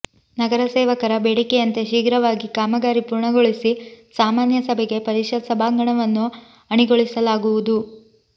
ನಗರ ಸೇವಕರ ಬೇಡಿಕೆಯಂತೆ ಶೀಘ್ರವಾಗಿ ಕಾಮಗಾರಿ ಪೂರ್ಣಗೊಳಿಸಿ ಸಾಮಾನ್ಯ ಸಭೆಗೆ ಪರಿಷತ್ ಸಭಾಂಗಣವನ್ನು ಅಣಿಗೊಳಿಸಲಾಗುವದು